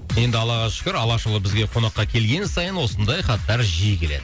енді аллаға шүкір алашұлы бізге қонаққа келген сайын осындай хаттар жиі келеді